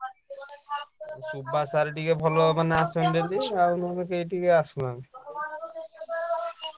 Subash sir ଟିକେ ଭଲ ମାନେ ଆସନ୍ତି daily ଆଉ ନହେଲେ କେହି ଟିକେ ଆସୁନାହାନ୍ତି।